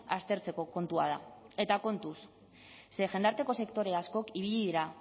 aztertzeko kontua da eta kontuz ze jendarteko sektore askok ibili dira